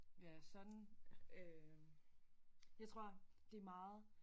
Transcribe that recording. Ja sådan øh jeg tror det meget